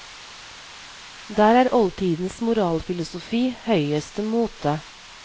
Der er oldtidens moralfilosofi høyeste mote.